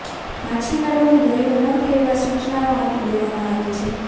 માછીમારોને દરિયો ન ખેડવા સુચનાઓ આપી દેવામાં આવી છે